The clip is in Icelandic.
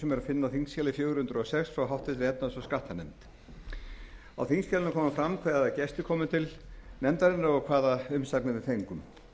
sem er að finna á þingskjali fjögur hundruð og sex frá efnahags og skattanefnd á þingskjalinu kemur fram hvaða gestir komu til nefndarinnar og hvaða umsagnir við fengum